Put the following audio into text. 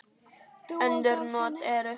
Önnur not eru